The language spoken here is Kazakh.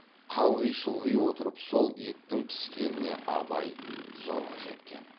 қалғи шұлғи отырып сол еттің піскеніне абай зорға жеткен